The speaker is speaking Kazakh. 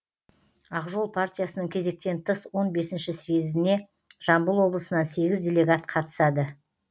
ақ жол партиясының кезектен тыс он бесінші съезіне жамбыл облысынан сегіз делегат қатысады